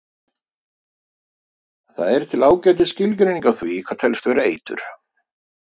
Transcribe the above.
Það er til ágætis skilgreining á því hvað telst vera eitur.